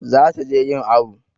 Za ta je yin awu